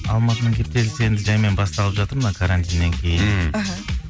алматының кептелісі енді жаймен басталып жатыр мына карантиннен кейін мхм іхі